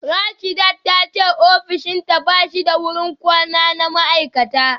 Rasheedat ta ce ofishinta ba shi da wurin kwana na ma’aikata